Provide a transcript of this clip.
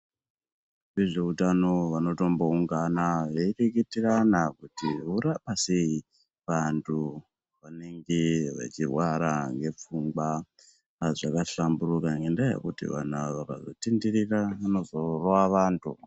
Vezveutano vanotomboungana vedikitirana kuti vorapa sei vandu vanenge vechirwara ngepfungwa pazvakahlamburika ngenyaya yekuti vanhu ava vakazotenderera vanozorova vandu.